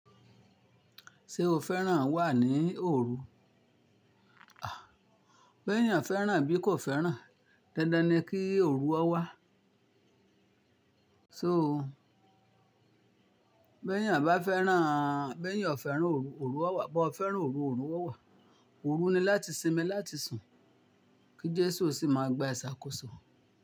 Ṣé o fẹ́ràn wà ní òru? À, bó ẹ́niyàn fẹ́ràn bí kò fẹ́ràn, dandan ni kí òru ọ wá. So bó ẹ́niyàn bá fẹ́ràn, bó ẹ́niyàn fẹ́ràn òru, òru a wà, bó ẹ́ fẹ́ràn òru, òru a wà. Òru ni láti sinmi, láti sùn, kí Jésù sì máa gba ìṣàkóso.